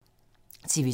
TV 2